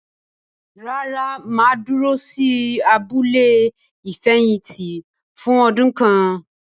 Rárá, mà á dúró sí “abúlé ìfẹ̀yìntì” fún ọdún kan.